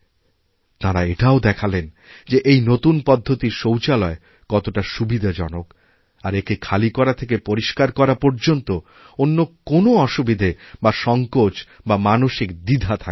তাঁরা এটাও দেখালেন যে এই নতুন পদ্ধতির শৌচালয় কতটাসুবিধাজনক আর একে খালি করা থেকে পরিস্কার করা পর্যন্ত অন্য কোনও অসুবিধা বা সংকোচবা মানসিক দ্বিধা থাকে না